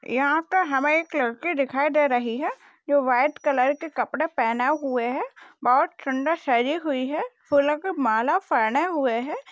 यहा पे हमे एक लड़की दिखाई दे रही है। जो व्हाइट कलर के कपड़े पहने हुए है। बहुत सुंदर सजी हुई है। फूलोके माला पहने हुए है।